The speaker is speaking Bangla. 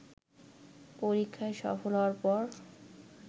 পরীক্ষায় সফল হওয়ার পর